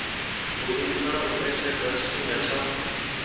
iimisela u etshedza tshifhinga tsho